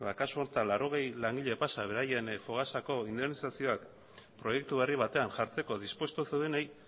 kasu honetan laurogei langile pasa beraien fogasako indemnizazioak proiektu berri batean jartzeko dispuesto zeudenei